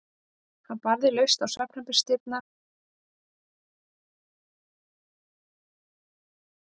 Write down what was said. Hann barði laust á svefnherbergisdyrnar hjá Millu og Jónsa, læddist inn og kyssti hrjótandi foreldrana.